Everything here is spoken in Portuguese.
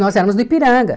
Nós éramos do Ipiranga.